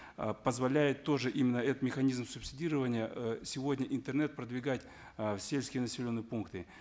э позволяет тоже именно этот механизм субсидирования э сегодня интернет продвигать э в сельские населенные пункты